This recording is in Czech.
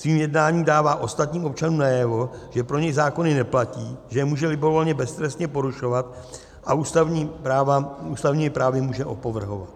Svým jednáním dává ostatním občanům najevo, že pro něj zákony neplatí, že je může libovolně beztrestně porušovat a ústavními právy může opovrhovat.